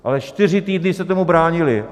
Ale čtyři týdny se tomu bránili.